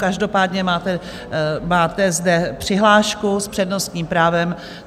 Každopádně máte zde přihlášku s přednostním právem.